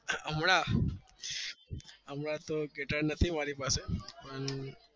હમણાં તો ગીતર નહી મારી પાસે